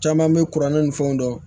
Caman bɛ kuranɛ ni fɛnw dɔn